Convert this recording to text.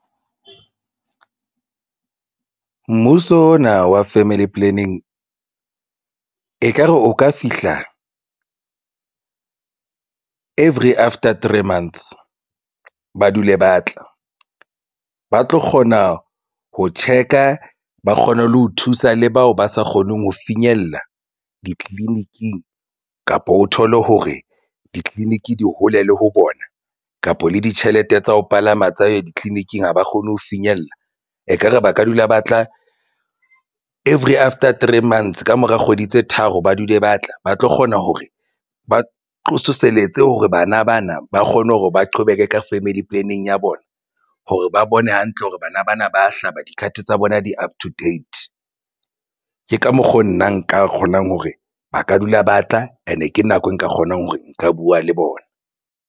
Mmuso ona wa family planning ekare o ka fihla every after three months ba dule ba tla ba tlo kgona ho check-a ba kgone le ho thusa le bao ba sa kgoneng ho finyella ditleliniking kapa o thole hore ditliliniki di hole le ho bona kapa le ditjhelete tsa ho palama tsa ditleliniking. Ha ba kgone ho finyella ekare ba ka dula ba tla every after three months. Ka mora kgwedi tse tharo ba dule ba tla ba tlo kgona hore ba hore bana bana ba kgone hore ba qhobeke ka family planning ya bona hore ba bone hantle hore bana bana ba hlaba do-card tsa bona di up to date. Ke ka mokgo nna nka kgonang hore ba ka dula ba tla and ke nako eo nka kgonang hore nka buwa le bona.